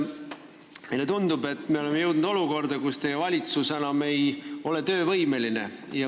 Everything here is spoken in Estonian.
Meile tundub, et oleme jõudnud olukorda, kus teie valitsus ei ole enam töövõimeline.